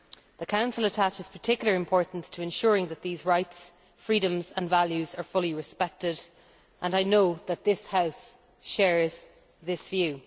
The Council attaches particular importance to ensuring that these rights, freedoms and values are fully respected, and I know that this House shares this view.